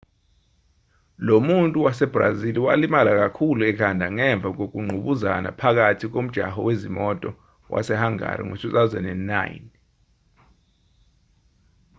lo muntu wasebrazili walimala kakhulu ekhanda ngemva kokungqubuzana phakathi nomjaho wezimoto wasehangari ngo-2009